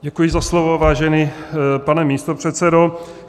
Děkuji za slovo, vážený pane místopředsedo.